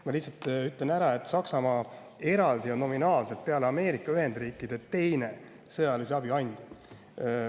Ma lihtsalt ütlen ära, et Saksamaa on peale Ameerika Ühendriikide nominaalselt teine sõjalise abi andja.